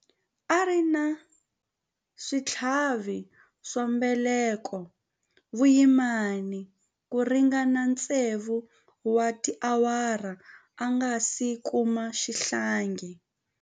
A ri na switlhavi swa mbeleko vuyimani ku ringana tsevu wa tiawara a nga si kuma xihlangi.